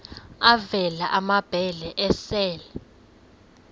avela amabele esel